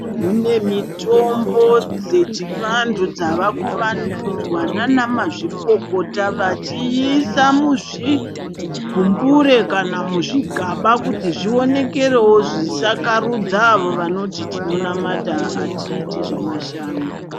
Kune mitombo dzechivantu dzavaku vandudzwa naana mazvikokota vachiisa muzvigumbure kana muzvigaba kuti zvionekerewo zvisakarudza avo vanoti tinomamata hatiiti zvemashavi.